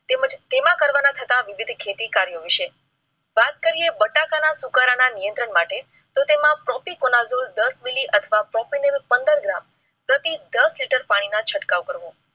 માં કરવા ના થતા વિવિધ ખેતી કાર્ય વિશે વાત કરેં. બટાકા ના સુકારા ના નિયંત્રણ માટે તો તેમાં દસ મિલી અથવા ને પંદર gram પ્રતિ લિટર પાણી નો છટકાવ કરો.